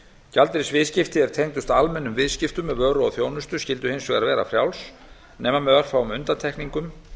gjaldeyrisviðskipti er tengdust almennum viðskiptum með vöru og þjónustu skyldu hins vegar vera frjáls nema með örfáum undantekningum